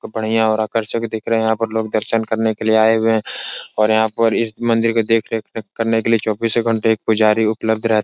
बढियां और आकर्षक दिख रहे हैं और यहाँ लोग दर्शन करने के लिये आये हुए हैं और यहाँ पर इस मंदिर को देख रेख करने के लिये चौबीस घंटे एक पुजारी उपल्ब्ध रह --